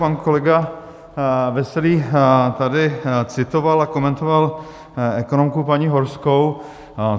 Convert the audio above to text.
Pan kolega Veselý tady citoval a komentoval ekonomku paní Horskou.